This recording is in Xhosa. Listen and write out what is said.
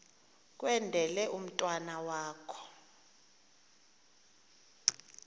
kwendele umntwana wakho